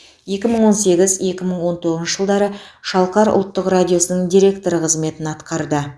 екі мың он сегіз екі мың он тоғызыншы жылдары шалқар ұлттық радиосының директоры қызметін атқарды